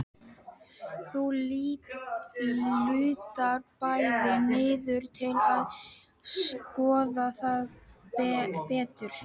Þau lúta bæði niður til að skoða það betur.